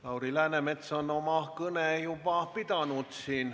Lauri Läänemets on siin oma kõne juba pidanud.